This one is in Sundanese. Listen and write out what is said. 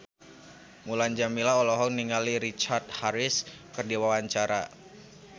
Mulan Jameela olohok ningali Richard Harris keur diwawancara